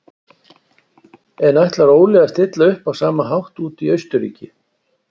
En ætlar Óli að stilla upp á sama hátt úti í Austurríki?